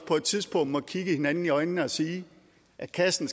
på et tidspunkt må kigge hinanden i øjnene og sige at kassen